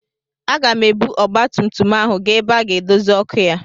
Aga m ebu ọgbatumtum ahụ gaa ebe a ga-edozi ọkụ ya.